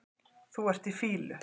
Þú ert í fýlu